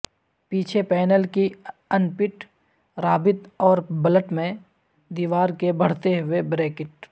پیچھے پینل کی input رابط اور بلٹ میں دیوار کے بڑھتے ہوئے بریکٹ